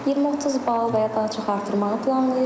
20-30 bal və ya daha çox artırmağı planlayıram.